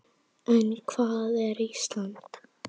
En hvað er Ísland?